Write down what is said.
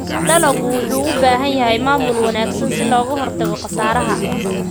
Dalaggu wuxuu u baahan yahay maamul wanaagsan si looga hortago khasaaraha.